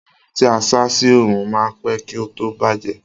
Ẹran tí a sá sí oòrùn ma ń pẹ́ kí ó tó bàjẹ́